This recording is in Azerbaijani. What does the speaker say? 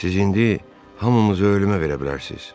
Siz indi hamımızı ölümə verə bilərsiz.